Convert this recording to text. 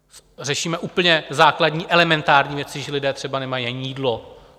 Řešíme úplně základní elementární věci, že lidé třeba nemají ani jídlo.